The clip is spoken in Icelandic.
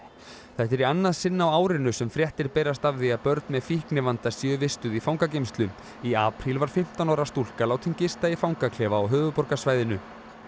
þetta er í annað sinn á árinu sem fréttir berast af því að börn með fíknivanda séu vistuð í fangageymslu í apríl var fimmtán ára stúlka látin gista í fangaklefa á höfuðborgarsvæðinu